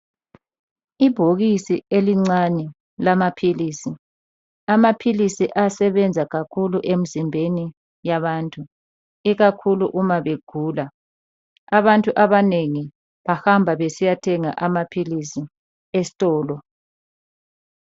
Ibhokisi elincane lamaphilisi. Amaphilisi ayasebenza kakhulu emzimbeni yabantu ikakhulu uma begula. Abantu abanengi bahamba besiyathenga amaphilisi esitolo.